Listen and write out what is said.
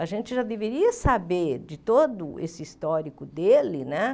A gente já deveria saber de todo esse histórico dele, né?